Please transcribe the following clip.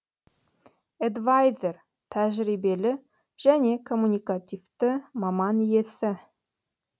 эдвайзер тәжірибелі және коммуникативті маман иесі